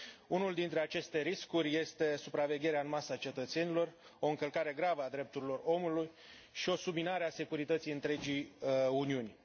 Unul dintre aceste riscuri este supravegherea în masă a cetățenilor, o încălcare gravă a drepturilor omului și o subminare a securității întregii Uniuni.